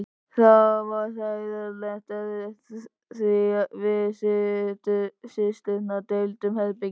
Það var hræðilega erfitt því við systurnar deildum herbergi.